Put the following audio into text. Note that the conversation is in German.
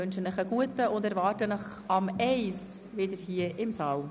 Ich wünsche Ihnen einen guten Appetit und erwarte Sie um 13.00 Uhr wieder hier im Saal.